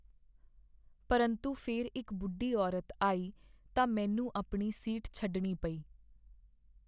ਪਰੰਤੂ ਫਿਰ ਇੱਕ ਬੁੱਢੀ ਔਰਤ ਆਈ ਤਾਂ ਮੈਨੂੰ ਆਪਣੀ ਸੀਟ ਛੱਡਣੀ ਪਈ।